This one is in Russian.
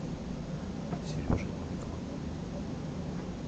сережей новиковым